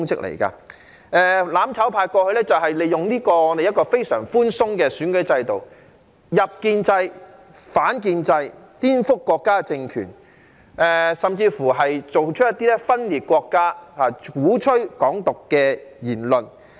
"攬炒派"過去利用這個非常寬鬆的選舉制度，"入建制、反建制"，顛覆國家政權，甚至作出一些分裂國家、鼓吹"港獨"的言論。